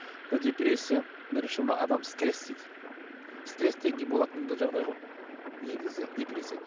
мына депрессия бірінші мына адам стресс дейді стресстен кейінгі болатын жағдай ғой негізі депрессия